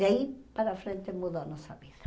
Daí para frente mudou nossa vida.